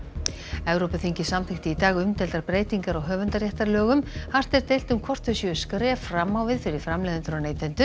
Evrópuþingið samþykkti í dag umdeildar breytingar á höfundarréttarlögum hart er deilt um hvort þau séu skref fram á við fyrir framleiðendur og neytendur